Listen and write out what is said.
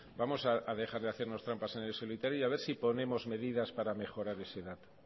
vamos a dejar de hacernos trampas en el solitario y a ver si ponemos medidas para mejorar ese dato